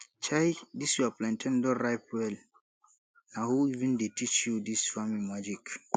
chai dis your plantain don ripe well na who even dey teach you dis farming magic